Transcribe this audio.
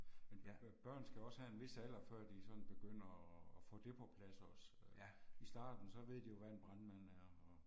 Børn skal også have en vis alder før de sådan begynder og og få det på plads også øh. I starten så ved de jo hvad en brandmand er og